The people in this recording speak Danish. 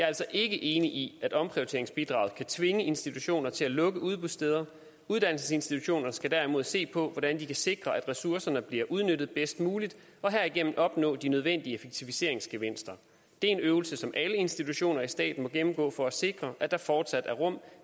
altså ikke enig i at omprioriteringsbidraget kan tvinge institutioner til at lukke udbudssteder uddannelsesinstitutionerne skal derimod se på hvordan de kan sikre at ressourcerne bliver udnyttet bedst muligt og herigennem opnå de nødvendige effektiviseringsgevinster det er en øvelse som alle institutioner i staten må gennemgå for at sikre at der fortsat er rum